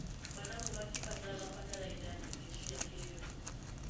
Managu matibataraga bataraitha nyingĩ cia kĩrĩu.